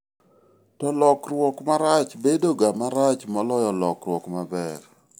to lokruok marach bedo ga marach moloyo lokruok maber